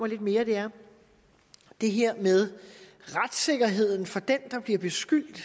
lidt mere er det her med retssikkerheden for den der bliver beskyldt